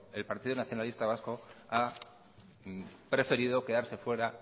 el partido nacionalista vasco ha preferido quedarse fuera